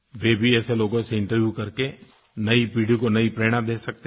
वे भी ऐसे लोगों से इंटरव्यू करके नई पीढ़ी को नई प्रेरणा दे सकते हैं